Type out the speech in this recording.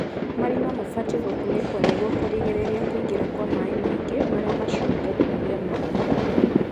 Marima mabatie gũkunĩkwo nĩguo kũrigĩrĩria kũingĩra Kwa maĩ maingĩ marĩa macũngagĩrĩria maĩ